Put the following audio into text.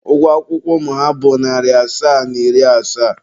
Ụgwọ akwụkwọ ụmụ ha bụ narị naira asaa na iri asaa.